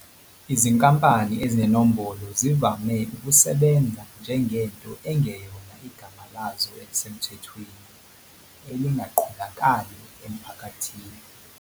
Izinkampani ezinenombolo zivame ukusebenza njengento engeyona igama lazo elisemthethweni, elingaqondakali emphakathini.